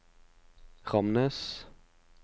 Ramnes